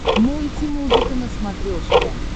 мультимузыка на смотрешке